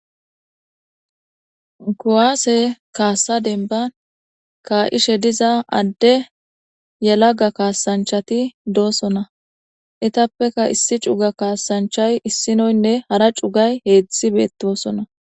kuwaase kaassa denban ka7ishe diza adde yalaga kaasanchati doosona etappeka issi cuga kaasanchay issinoynne hara cugay heetzdthi beettosona